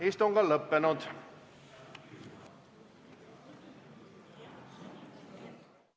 Istungi lõpp kell 15.11.